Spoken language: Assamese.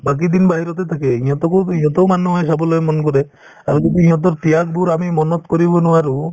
বাকিদিন বাহিৰতে থাকে ইহঁতকো ইহঁতো মানুহ হয় চাবলৈ মন কৰে আৰু যদি সিহঁতৰ ত্যাগবোৰ আমি মনত কৰিব নোৱাৰো